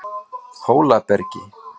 Hólabergi